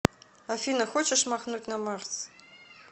афина хочешь махнуть на марс